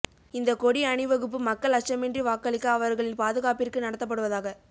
இந்த கொடி அணிவகுப்பு மக்கள் அச்சமின்றி வாக்களிக்க அவர்களின் பாதுகாப்பிற்கு நடத்தப்படுவதாக